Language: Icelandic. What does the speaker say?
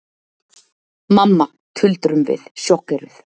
Mamma, tuldrum við, sjokkeruð.